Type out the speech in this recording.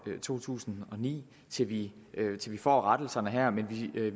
to tusind og ni og til vi får rettelserne her men vi